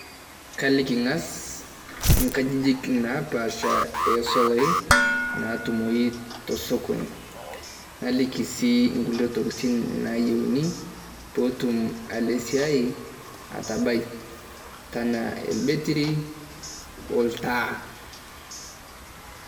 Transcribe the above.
Kaliki aang`as nkajijik naapaasha oo solai naatumoi to sokoni. Naliki sii nkulie tokitin naayieuni pee etum alo esiai atabai enaa elbetiri o ltaa.